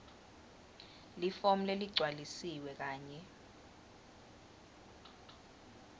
lifomu leligcwalisiwe kanye